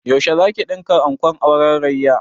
Yaushe zaki ɗinka ankon auren Rayya?